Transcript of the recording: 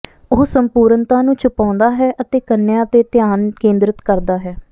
ਉਹ ਸੰਪੂਰਨਤਾ ਨੂੰ ਛੁਪਾਉਂਦਾ ਹੈ ਅਤੇ ਕੰਨਿਆਂ ਤੇ ਧਿਆਨ ਕੇਂਦ੍ਰਿਤ ਕਰਦਾ ਹੈ